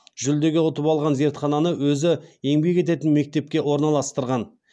жүлдеге ұтып алған зертхананы өзі еңбек ететін мектепке орналастырған